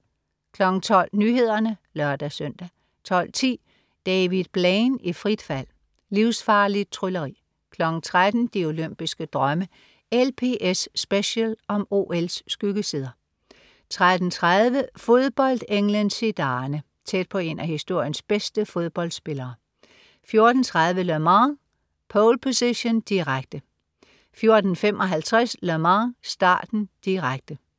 12.00 Nyhederne (lør-søn) 12.10 David Blaine i frit fald. Livsfarligt trylleri 13.00 De olympiske drømme. "LPS Special" om OL's skyggesider 13.30 Fodboldenglen Zidane. Tæt på en af historiens bedste fodboldspillere 14.30 Le Mans, pole position, direkte 14.55 Le Mans, starten, direkte